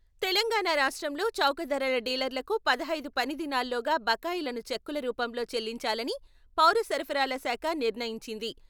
తెలంగాణ రాష్ట్రంలో చౌకధరల డీలర్లకు పెదహైదు పనిదినాల్లోగా బకాయిలను చెక్కుల రూపంలో చెల్లించాలని పౌర సరఫరాల శాఖ నిర్ణయించింది.